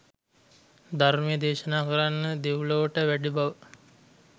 ධර්මය දේශනා කරන්න දෙව්ලොවට වැඩි බව.